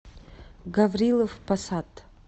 гаврилов посад